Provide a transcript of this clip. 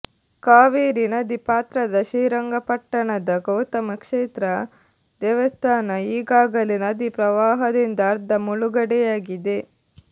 ಕಾವೇರಿ ನದಿ ಪಾತ್ರದ ಶ್ರೀರಂಗಪಟ್ಟಣದ ಗೌತಮ ಕ್ಷೇತ್ರ ದೇವಸ್ಥಾನ ಈಗಾಗಲೇ ನದಿ ಪ್ರವಾಹದಿಂದ ಅರ್ಧ ಮುಳುಗಡೆಯಾಗಿದೆ